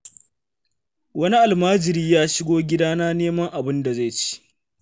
Wani almajiri ya shigo gidana neman abin da zai ci.